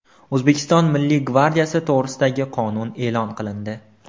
O‘zbekiston Milliy gvardiyasi to‘g‘risidagi qonun e’lon qilindi.